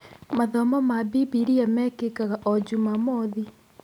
Mathomo ma bibilia mekĩkaga o Jumamothi.